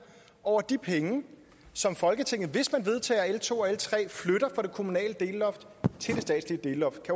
over de penge som folketinget hvis man vedtager l to og l tre flytter fra det kommunale delloft til det statslige delloft